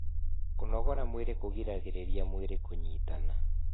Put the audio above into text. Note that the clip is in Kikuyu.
kũnogora mwĩrĩ kugiragirirĩa mwĩrĩ kunyitana